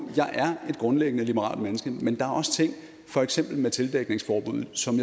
jeg grundlæggende liberalt menneske men der er også ting for eksempel tildækningsforbuddet som